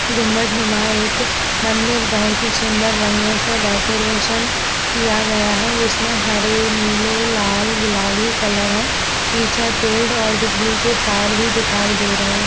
गुंबट में वहां एक मंदिर बोहोत ही सुंदर रंगों से डेकोरेशन किया गया है जिसमें हरे नीले लाल गुलाबी कलर है | पीछे पेड़ और बिजली के तार भी दिखाई दे रहे --